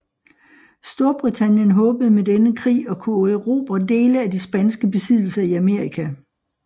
Storbritannien håbede med denne krig at kunne erobre dele af de spanske besiddelser i Amerika